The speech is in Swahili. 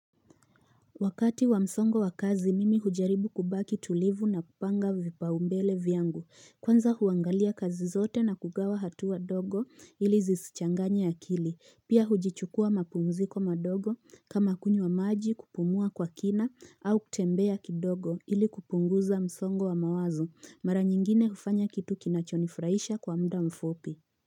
Wakati wa msongo wa kazi mimi hujaribu kubaki tulivu na kupanga vipaumbele viangu kwanza huangalia kazi zote na kugawa hatua ndogo ili zisichanganye akili pia hujichukua mapumziko madogo kama kunywa maji kupumua kwa kina au kutembea kidogo ili kupunguza msongo wa mawazo mara nyingine hufanya kitu kinachonifuraisha kwa muda mfupi.